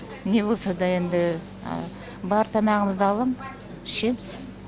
не болса да енді бар тамағымызды алам ішеміз